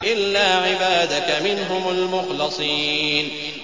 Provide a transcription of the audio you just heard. إِلَّا عِبَادَكَ مِنْهُمُ الْمُخْلَصِينَ